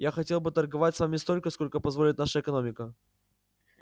я хотел бы торговать с вами столько сколько позволит наша экономика